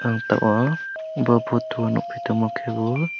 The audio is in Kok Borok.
ang tabok bo photo o nugui tongma khe bo.